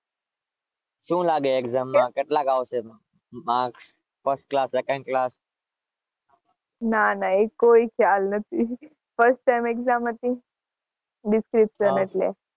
ના ના એવી કોઈ ચલ નથી